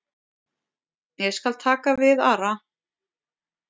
Ég skal taka við Ara.